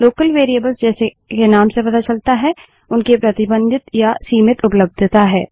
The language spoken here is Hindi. लोकल वेरिएबल्स जैसे के नाम से पता चलता है उनकी प्रतिबंधित या सीमित उपलब्धता है